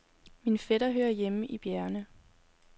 Min fætter hører hjemme i bjergene.